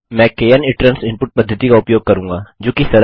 मैं kn ITRANS input पद्धति का उपयोग करूँगा